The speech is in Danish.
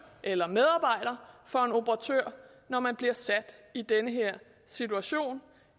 eller medarbejder for en operatør når man bliver sat i den her situation